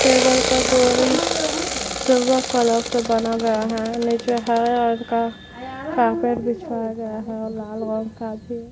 Table का कोई silver colour का बना हुआ है। निचे हरे रंग का कारपेट बिछाया गया है और लाल रंग का भी--